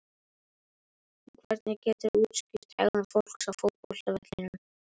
En hvernig geturðu útskýrt hegðun fólks á fótboltavellinum?